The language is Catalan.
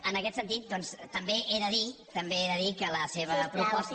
en aquest sentit doncs també he de dir també he de dir que la seva proposta